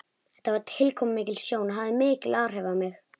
Þetta var tilkomumikil sjón og hafði mikil áhrif á mig.